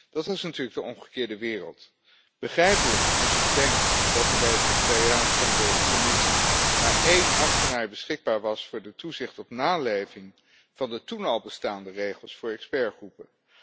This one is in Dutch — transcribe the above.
Dat is natuurlijk de omgekeerde wereld. Begrijpelijk als je bedenkt dat er bij het secretariaat van de Commissie maar één ambtenaar beschikbaar was voor de toezicht op naleving van de toen al bestaande regels voor expertgroepen.